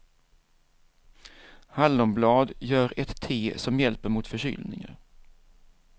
Hallonblad, gör ett te som hjälper mot förkylningar.